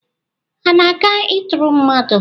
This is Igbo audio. Ha ana-aga ịtụrụ mmadụ?